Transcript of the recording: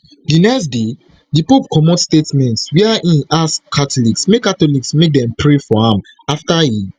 di next day di pope comot statement wia im ask catholics make catholics make dem pray for am afta e